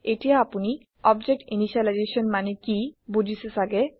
এতিয়া আপোনি object initialisation মানে কি বুজিছে চাগে